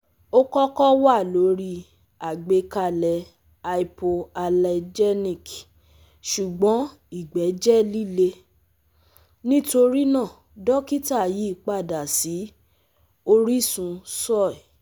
o kọkọ wa lori agbekalẹ hypoallergenic ṣugbọn igbe jẹ lile, nitorina dokita yipada si orisun soy